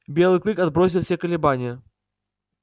белый клык отбросил все колебания